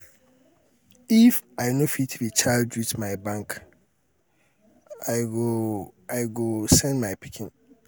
if um i no fit recharge with my bank um i go um i go um send my pikin.